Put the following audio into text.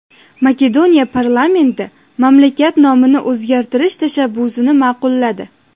Makedoniya parlamenti mamlakat nomini o‘zgartirish tashabbusini ma’qulladi.